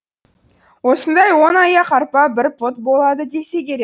осындай он аяқ арпа бір пұт болады десе керек